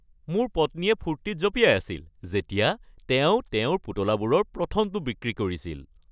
মোৰ পত্নীয়ে ফূৰ্তিত জঁপিয়াই আছিল যেতিয়া তেওঁ তেওঁৰ পুতলাবোৰৰ প্ৰথমটো বিক্ৰী কৰিছিল।